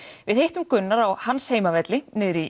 við hittum Gunnar á hans heimavelli niðri í